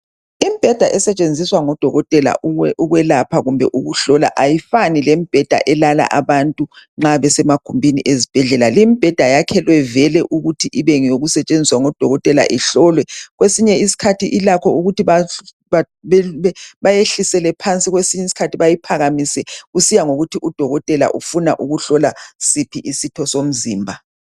Imbheda esetshenziswa ngodokotela ukwelapha kumbe ukuhlola, ayifani lembheda elala abantu nxa besemagumbini, ezibhedlela. Limbheda yakhelwe vele, ukuthi ibengeyokusetshenziswa ngodokotela. lhlolwe. Kwesinye isikhathi ilakho ukuthi bayehlisele phansi, kwesinye isikhathi bayiphakamise, kusiya ngokuthi udokotela ufuna ukuhlola siphi isitho somzimba.